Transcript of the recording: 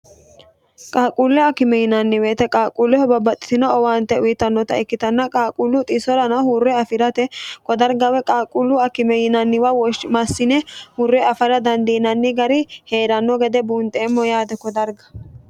qaaquulle akime yinanni weete qaaqquulleho babbaxxitino owaante uyitannota ikkitannota qaaquullu xisorana hurre afirate ko darga woy qaaqquullu akime yinanniwa woshinaywa massine hurre afira dandiinanni gari heeranno gede buunxeemmo yaate kodarga